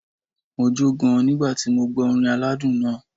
Mo jó gan nígbà tí mo gbọ́ orin aládùn náà.